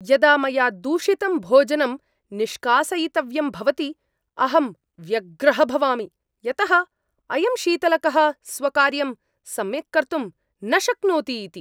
यदा मया दूषितं भोजनं निष्कासयितव्यं भवति, अहं व्यग्रः भवामि यतः अयं शीतलकः स्वकार्यं सम्यक् कर्तुं न शक्नोति इति!